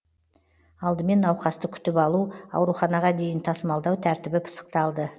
алдымен науқасты күтіп алу ауруханаға дейін тасымалдау тәртібі пысықталды